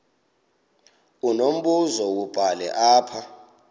unombuzo wubhale apha